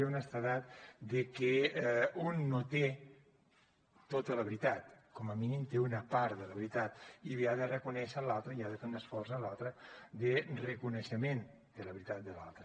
de que un no té tota la veritat com a mínim té una part de la veritat i li ha de reconèixer a l’altre i ha de fer un esforç en l’altre de reconeixement de la veritat de l’altre